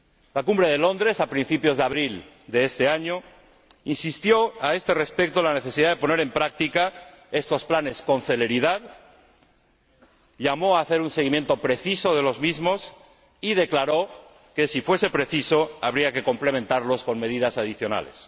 La Cumbre de Londres, a principios de abril de este año, insistió a este respecto en la necesidad de poner en práctica estos planes con celeridad, llamó a hacer un seguimiento preciso de los mismos y declaró que, si fuese preciso, habría que complementarlos con medidas adicionales.